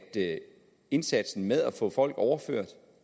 indsatsen med at få folk overført